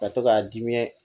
Ka to k'a diɲɛ